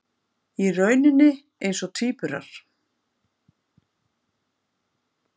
Í rauninni eins og tvíburar.